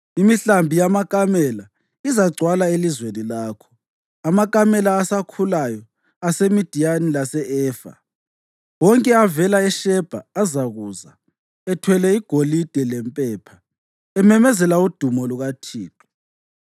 Imihlambi yamakamela izagcwala elizweni lakho, amakamela asakhulayo aseMidiyani lase-Efa. Wonke avela eShebha azakuza ethwele igolide lempepha ememezela udumo lukaThixo.